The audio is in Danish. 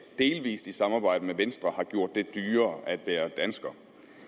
delvis i samarbejde med venstre har gjort det dyrere at være dansker